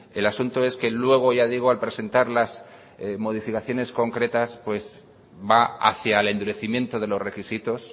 el asunto es que luego ya digo al presentar las modificaciones concretas pues va hacia el endurecimiento de los requisitos